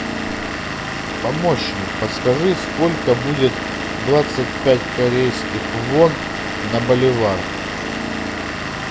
помощник подскажи сколько будет двадцать пять корейских вон на боливар